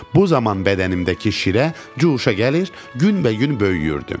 Bu zaman bədənimdəki şirə cuşa gəlir, günbəgün böyüyürdüm.